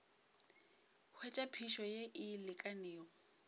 hwetša phišo ye e lekanego